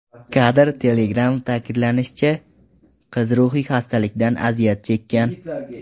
Kadr: Telegram Ta’kidlanishicha, qiz ruhiy xastalikdan aziyat chekkan.